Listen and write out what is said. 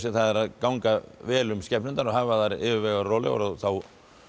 það er að ganga vel um skepnurnar og hafa þær yfirvegaðar og rólegar og þá